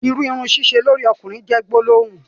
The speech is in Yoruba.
ìrù Irun sẹsẹ lórí okùnrin jé gbólóhùn.